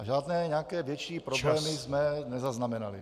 A žádné nějaké větší problémy jsme nezaznamenali.